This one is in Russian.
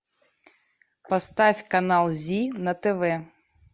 поставь канал зи на тв